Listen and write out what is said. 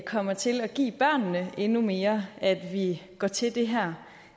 kommer til at give børnene endnu mere at vi går til det her